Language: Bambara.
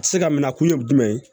Tɛ se ka minɛ kun ye jumɛn ye